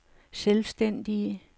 selvstændige